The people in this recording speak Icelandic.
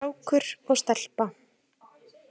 Strákur og stelpa.